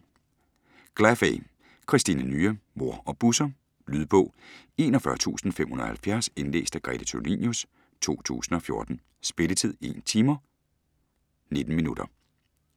Glaffey, Kristina Nya: Mor og Busser Lydbog 41570 Indlæst af Grete Tulinius, 2014. Spilletid: 1 timer, 19 minutter.